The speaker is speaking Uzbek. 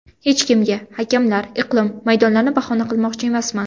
Hech kimga, hakamlar, iqlim, maydonlarni bahona qilmoqchi emasman.